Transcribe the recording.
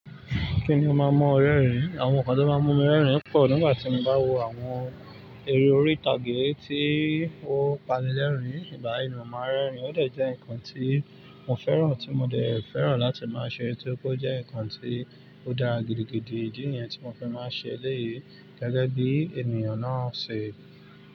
Kí ni ó máa ń mú ọ rẹrin? Àwọn nǹkan tó máa ń mú mi rẹ́rìn-ín pọ̀ nígbà tí mo bá wò àwọn eré orí ìtàgé tí ó panilẹ́rìn-ín, ìgbà yẹn ni mo máa ń rẹ́rìn-ín, ó dẹ̀ jẹ́ nǹkan tí mo fẹ́ràn tí mo dẹ̀ fẹ́ràn láti máa ṣe, tí ó ríi pé ó jẹ́ nǹkan tí ó dára gídígídí, ìdí ni yẹn tí mo fi máa ń ṣe elèyí gẹ́gẹ́ bí ènìyàn náà ṣe.